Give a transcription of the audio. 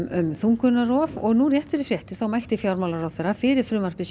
um þungunarrof og nú rétt fyrir fréttir mælti fjármálaráðherra fyrir frumvarpi